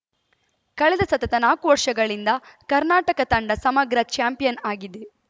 ಕಳೆದ ಸತತ ನಾಲ್ಕು ವರ್ಷಗಳಿಂದ ಕರ್ನಾಟಕ ತಂಡ ಸಮಗ್ರ ಚಾಂಪಿಯನ್‌ ಆಗಿದೆ